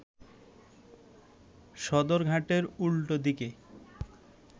সদরঘাটের উল্টো দিকে